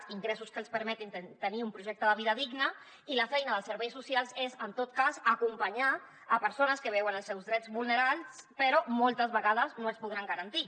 ingressos que els permetin tenir un projecte de vida digna i la feina dels serveis socials és en tot cas acompanyar persones que veuen els seus drets vulnerats però moltes vegades no els podran garantir